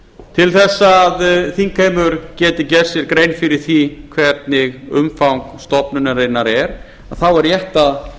til þess að þingheimur geti gert sér grein fyrir því hvernig umfang stofnunarinnar er þá er rétt að